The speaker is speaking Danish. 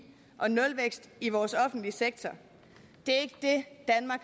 og nulvækst i vores offentlige sektor